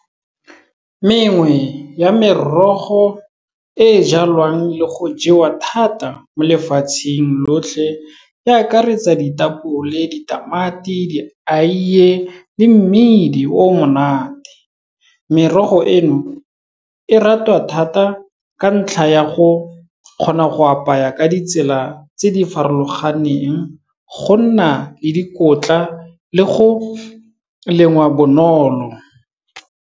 Mengwe ya merogo e e jalwang le go jewa thata mo lefatsheng lotlhe e akaretsa ditapole, ditamati, dieie le mmidi o monate. Merogo eno, e ratwa thata ka ntlha ya go kgona go apaya ka ditsela tse di farologaneng, go nna le dikotla le go lengwa bonolo.